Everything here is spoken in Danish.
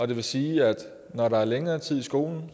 det vil sige at når der er længere tid i skolen